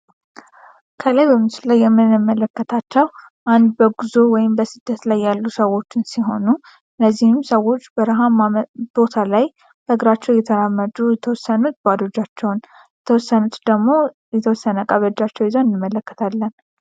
ከላይ በምስሉ ላይ የምንመለከታቸው አንድ በጉዞ ወይም በስደት ላይ ያሉ ሰዎችን ሲሆኑ እነዚህም ሰዎች በርሃ ላይ እየተራመዱ አንዳንዶቹ ድግሞ ባዶ እጃቸውን ። የተወሰኑት ድግሞ የተወሰነ እቃ ይዘው እንመላከታለን።